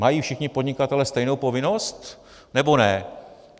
Mají všichni podnikatelé stejnou povinnost, nebo ne?